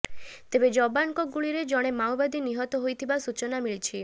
ତେବେ ଯବାନଙ୍କ ଗୁଳିରେ ଜଣେ ମାଓବାଦୀ ନିହତ ହୋଇଥିବା ସୂଚନା ମିଳିଛି